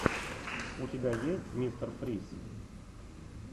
у тебя есть мистер фриз